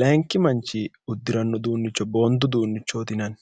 layinki manchi uddiranno uduunnicho boondu duunnichooti inanni